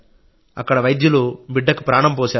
అక్కడ వైద్యులు బిడ్డకు ప్రాణం పోశారు